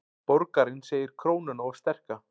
Borgarinn segir krónuna of sterka